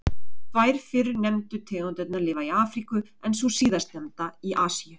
Tvær fyrr nefndu tegundirnar lifa í Afríku en sú síðastnefnda í Asíu.